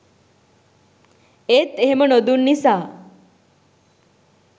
ඒත් එහෙම නොදුන් නිසා